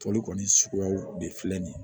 Tɔli kɔni suguyaw de filɛ nin ye